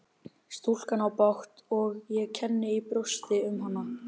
Stúlkan á bágt og ég kenni í brjósti um hana.